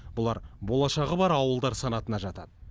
бұлар болашағы бар ауылдар санатына жатады